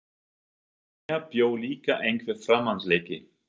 Í mér bjó líka einhver framandleiki.